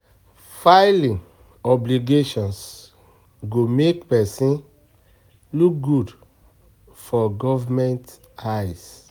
Filing obligations go make pesin look good for government eye